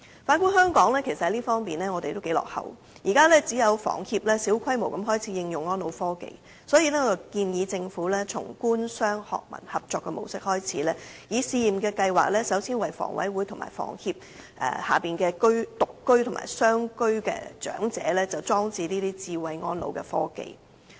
反觀香港，其實在這方面也相當落後，現時只有香港房屋協會小規模地開始應用安老科技，所以我建議政府從官、商、學、民合作模式開始，以試驗計劃首先為香港房屋委員會及房協轄下獨居或雙居長者的住所裝設智慧安老科技。